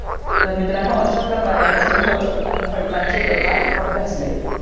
तर मित्रांनो अश्या प्रकारे आपण खडक आणि खडकाचे प्रकार अभ्यासले